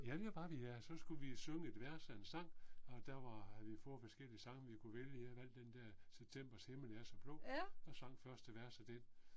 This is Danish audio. Ja det var vi da og så skulle vi synge et vers af en sang og der var vi havde fået forskellige sange vi kunne vælge, jeg valgte den der Septembers himmel er så blå og sang første vers af den